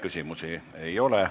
Küsimusi ei ole.